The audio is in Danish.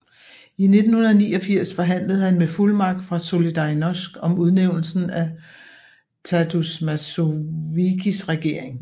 I 1989 forhandlede han med fuldmagt fra Solidarność om udnævnelsen af Tadeusz Mazowieckis regering